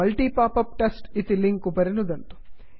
multi popup test इति link उपरि नुदन्तु